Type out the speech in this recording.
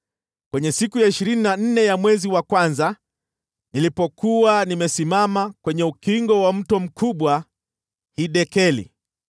Kwenye siku ya ishirini na nne ya mwezi wa kwanza, nilipokuwa nimesimama kwenye ukingo wa mto mkubwa Hidekeli,